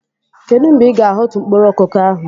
Kedu mgbe Ị ga-ahọtu mkpụrụ koko ahu?